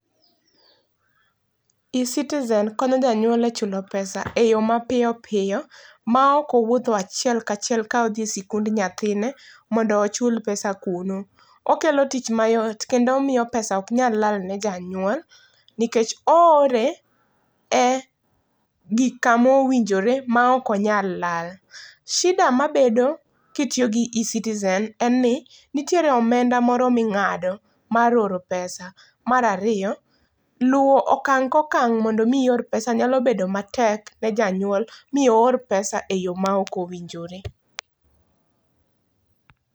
E-citizen konyo janyuol e chulo pesa e yoo mapiyo piyo maok owuotho achiel kachiel ka odhi e sikund nyathine mondo ochul pesa kuno. Okelo tich mayot kendo omiyo pesa ok nyal lal ne janyuol nikech oore e gik, kama owinjore maok onyal lal. Shida mabedo kitiyo gi e-citizen en ni nitie omenda moro mingado kitiyo gi E-Citizen, mar ariyo luwo okang ka okang mondo mi ior pesa nyalo bedo matek ne janyuol mi oor pes ae yoo maok owinjore